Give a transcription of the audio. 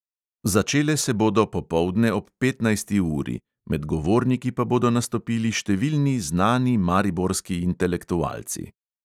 Začele se bodo popoldne ob petnajsti uri, med govorniki pa bodo nastopili številni znani mariborski intelektualci.